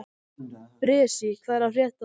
Bresi, hvað er að frétta?